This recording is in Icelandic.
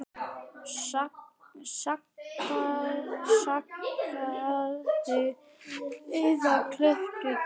Saxaðu eða klipptu dillið.